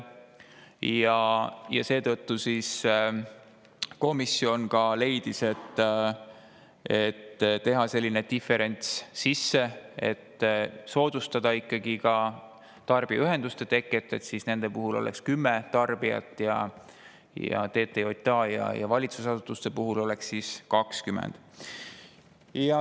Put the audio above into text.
Komisjon leidis, et teha selline diferents, et tarbijaühenduste puhul, soodustamaks nende teket, oleks 10 tarbijat ning TTJA ja valitsusasutuste puhul 20.